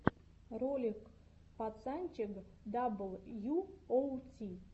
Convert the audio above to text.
ролик пацанчег дабл ю оу ти